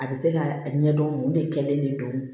A bɛ se ka a ɲɛdɔn o de kɛlen de don